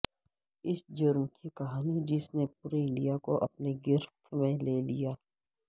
اس جرم کی کہانی جس نے پورے انڈیا کو اپنی گرفت میں لے لیا